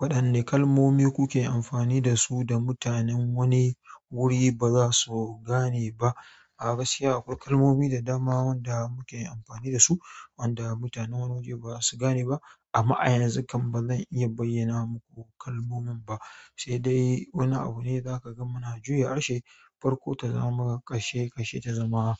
Waɗanne kalmomi kuke amfani da su da mutanen wani wuri ba za su gane ba? A'a, baskiya akwai kalmomi da dama wanda muke amfani da su wanda mutanen wani waje ba su gane ba. Amma ayanzu kan ba zan iya bayyana muku kalmomin ba, sai dai wani abu ne za ka ga muna juya harshen farko ta zama ƙarshe, ƙarshe ta zama